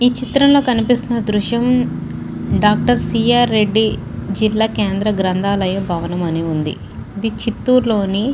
ఈ చిత్రంలో కనిపిస్తున్న దృశ్యం డాక్టర్ సి. ఆర్ రెడ్డి జిల్లా కేంద్ర గ్రంథాలయం అని ఉంది ఇది చిత్తూరులోని --